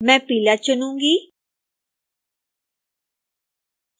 मैं पीला चुनूंगी